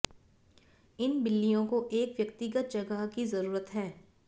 इन बिल्लियों को एक व्यक्तिगत जगह की जरूरत है